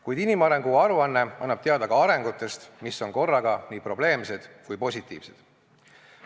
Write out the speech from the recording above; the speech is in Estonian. Kuid inimarengu aruanne annab teada ka arengutest, mis on korraga nii probleemsed kui ka positiivsed.